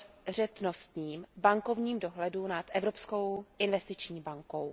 obezřetnostním bankovním dohledu nad Evropskou investiční bankou.